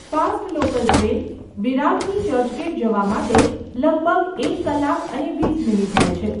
Fast local train વિરારથી ચર્ચગેટ જવા માટે લગભગ એક કલાક અને વીસ મિનિટ લે છે.